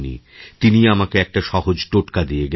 তিনিই আমাকে একটা সহজ টোটকা দিয়ে দিলেন